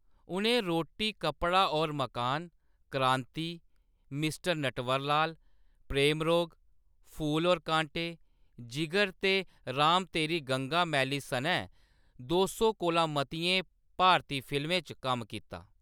उʼनें रोटी कपड़ा और मकान, क्रांति, मिस्टर नटवरलाल, प्रेम रोग, फूल और कांटे, जिगर ते राम तेरी गंगा मैली सनै दो सौ कोला मतियें भारती फिल्में च कम्म कीता।